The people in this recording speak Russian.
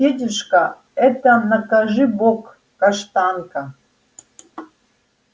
федюшка это накажи бог каштанка